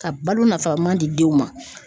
Ka balo nafa man di denw ma.